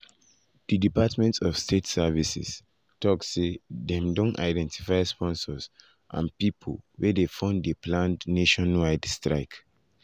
di department of state services (dss)tok say dem don identify sponsors and pipo wey dey fund di planned nationwide protest.